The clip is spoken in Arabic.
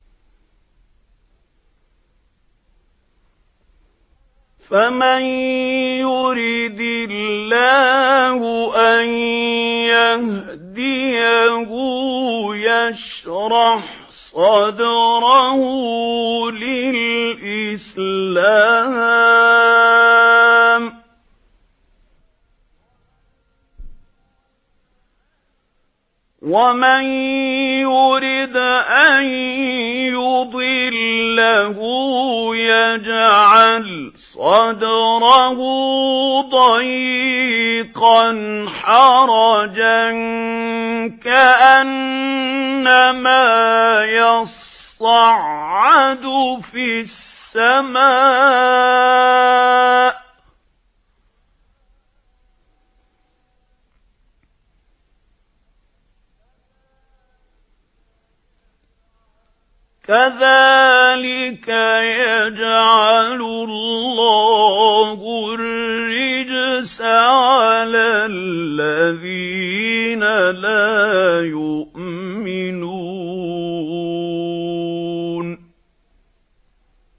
فَمَن يُرِدِ اللَّهُ أَن يَهْدِيَهُ يَشْرَحْ صَدْرَهُ لِلْإِسْلَامِ ۖ وَمَن يُرِدْ أَن يُضِلَّهُ يَجْعَلْ صَدْرَهُ ضَيِّقًا حَرَجًا كَأَنَّمَا يَصَّعَّدُ فِي السَّمَاءِ ۚ كَذَٰلِكَ يَجْعَلُ اللَّهُ الرِّجْسَ عَلَى الَّذِينَ لَا يُؤْمِنُونَ